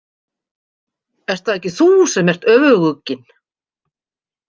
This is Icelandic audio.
Ert það ekki þú sem ert öfugugginn?